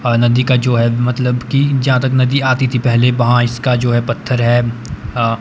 आ नदी का जो है मतलब कि जहां तक नदी आती थी पहले वहां इसका जो है पत्थर है अह --